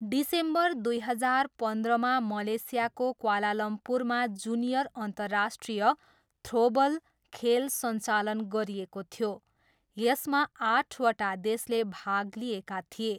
December दुई हजार पन्ध्रमा मलेसियाको क्वालालम्पुरमा जुनियर अन्तर्राष्ट्रिय थ्रोबल खेल सञ्चालन गरिएको थियो, यसमा आठवटा देशले भाग लिएका थिए।